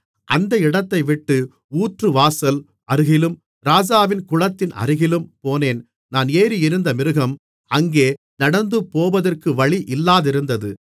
அந்த இடத்தைவிட்டு ஊற்றுவாசல் அருகிலும் ராஜாவின் குளத்தின் அருகிலும் போனேன் நான் ஏறியிருந்த மிருகம் அங்கே நடந்துபோவதற்கு வழி இல்லாதிருந்தது